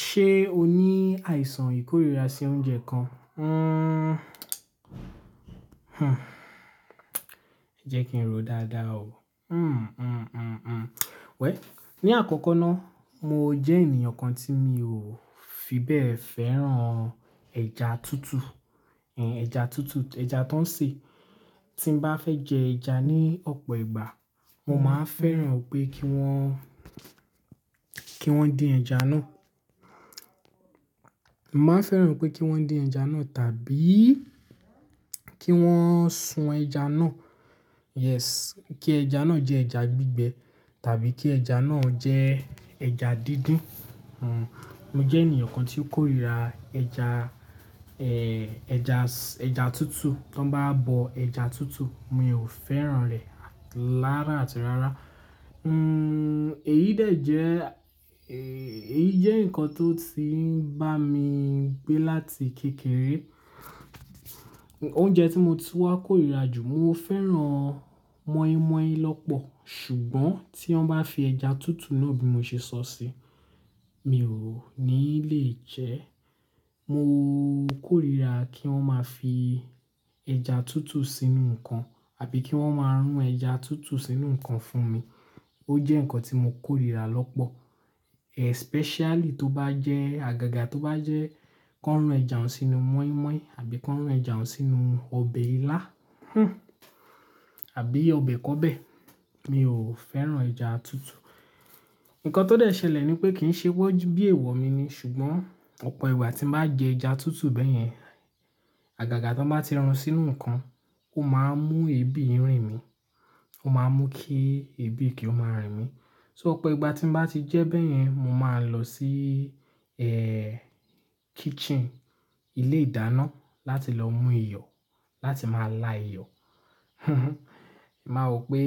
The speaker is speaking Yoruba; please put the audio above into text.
Ṣé o ní àìsàn ìkórìíra sí oúnjẹ kan? Jẹ́ kí n ro dáadáa o. Wẹ̀ll, ní àkọ́kọ́ ná, mo jẹ́ ènìyàn kan tí mi ò fi bẹ́ẹ̀ fẹ́ràn ẹja tútù. Ẹn, ẹja tútù, ẹja tó ń sè. Tí n bá fẹ́ jẹ ẹja ní ọ̀pọ̀ ìgbà, mo máa ń fẹ́ràn pé kí wọ́n, kí wọ́n dín ẹja náà. Mo máa ń fẹ́ràn pé kí wọ́n dín ẹja náà tàbí kí wọ́n sun ẹja náà. Yes. Kí ẹja náà jẹ́ ẹja gbígbẹ tàbí kí ẹja náà jẹ́ ẹja dídín. Mo jẹ́ ènìyàn kan tí ó kórìíra ẹja, eh, ẹja s-- ẹja tútù. To bá bọ ẹja tútù, mi ò fẹ́ràn rẹ̀ lárà àti rárá, èyí dẹ̀ jẹ́, èyí jẹ́ nǹkan tó ti ń bá mi gbé láti kékeré. Oúnjẹ tí mo tun wá kórìíra jù, mo fẹ́ràn mọ́ínmọ́ín lọ́pọ̀. Ṣùgbọ́n tí wọ́n bá fi ẹja tútù náà bí mo ṣe sọ sí i, mi ò ní lè jẹ ẹ́. Mo kórìíra kí wọ́n máa fi ẹja tútù sínú nǹkan àbí kí wọ́n máa rún ẹja tútù sínú nǹkan fún mi. Ó jẹ́ nǹkan tí mo kórìíra lọ́pọ̀. Especially tó bá jẹ́, àgàgà tó bá jẹ́ kó rún ẹja òun sínú mọ́ínmọ́ín àbí kó rún ẹja òun sínú ọbẹ̀ ilá, àbí ọbẹ̀ kọbẹ̀, mi ò fẹ́ràn ẹja tútù. Nǹkan tó dẹ ṣẹlẹ̀ ni pé kì í ṣe wọ́ bí èèwọ̀ mi ni, ṣùgbọ́n ọ̀pọ̀ ìgbà tí n bá jẹ ẹja tútù bẹ́yẹn, àgàgà tí wọ́n bá ti run sínú nǹkan, ó máa ń mú ebi rìn mí. Ó máa ń mú kí ebi kí ó máa rìn mí. So ọ̀pọ̀ ìgbà tí n bá ti jẹ́ bẹ́yẹn, mo máa ń lọ sí, kitchen, ilé ìdáná láti lọ mú iyọ̀, láti máa la iyọ̀. Máa wò pé